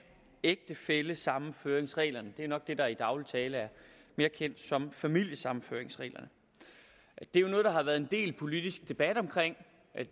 ægtefællesammenføringsreglerne det er nok det der i daglig tale er mere kendt som familiesammenføringsreglerne det er jo noget der har været en del politisk debat om